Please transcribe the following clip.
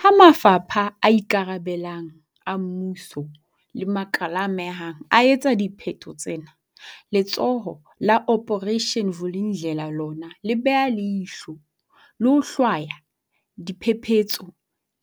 Ha mafapha a ikarabellang a mmuso le makala a amehang a etsa dipheto tsena, Letsholo la Operation Vuli ndlela lona le beha leihlo, le ho hlwaya diphephetso